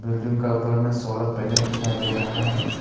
Building का ऊपर में सोलर पैनल दिखाई दे रहा है।